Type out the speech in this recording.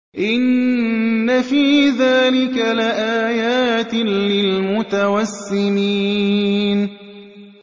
إِنَّ فِي ذَٰلِكَ لَآيَاتٍ لِّلْمُتَوَسِّمِينَ